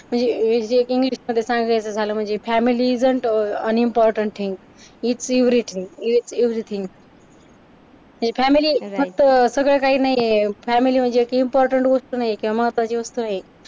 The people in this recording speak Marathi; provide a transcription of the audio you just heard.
म्हणजे इंग्लिश मध्ये सांगायचं झालं म्हणजे family isn't an important thing is everything everything म्हणजे फॅमिली फक्त सगळं काही नाहीये फॅमिली म्हणजे एक इम्पॉर्टन्ट वस्तु नाहीये किंवा महत्त्वाची वस्तु आहे.